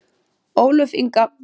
Ólöf Inga.